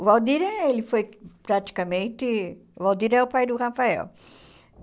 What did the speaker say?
O Valdir, ele foi praticamente... O Valdir é o pai do Rafael.